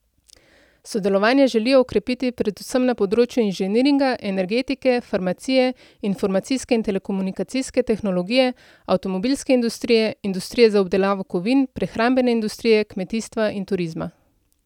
Sodelovanje želijo okrepiti predvsem na področju inženiringa, energetike, farmacije, informacijske in telekomunikacijske tehnologije, avtomobilske industrije, industrije za obdelavo kovin, prehrambene industrije, kmetijstva in turizma.